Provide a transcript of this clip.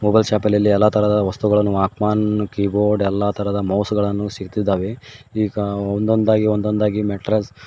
mobile ಶಾಪಿನಲ್ಲಿ ಎಲ್ಲಾ ತರಹದ ವಸ್ತುಗಳನ್ನು ಕೀಬೋರ್ಡ್ ಎಲ್ಲ ತರಹದ ಮೌಸ್ ಗಳನ್ನು ಸಿಕ್ಕಿದ್ದಾವೆ ಈಗ ಒಂದೊಂದಾಗಿ ಒಂದೊಂದಾಗಿ ಮೆಟ್ರೋಲ್--